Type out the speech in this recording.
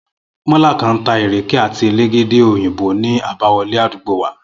Mó̩là kan ń ta ìrèké àti elégédé òyìnbo ní àbáwo̩lé àdúgbò wa